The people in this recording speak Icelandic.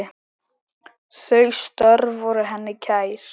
Þau störf voru henni kær.